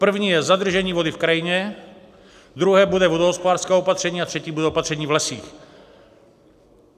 První je zadržení vody v krajině, druhé bude vodohospodářské opatření a třetí bude opatření v lesích.